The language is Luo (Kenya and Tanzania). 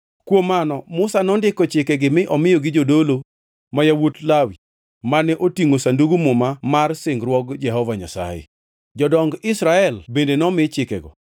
Kuom mano Musa nondiko chikegi mi omiyogi jodolo, ma yawuot Lawi, mane otingʼo Sandug Muma mar singruok Jehova Nyasaye. Jodong Israel bende nomi chikego.